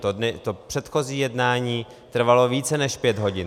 To předchozí jednání trvalo více než pět hodin.